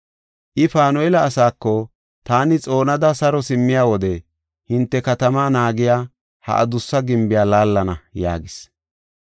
I Panu7eela asaako, “Taani xoonada saro simmiya wode hinte katamaa naagiya ha adussa gimbiya laallana” yaagis.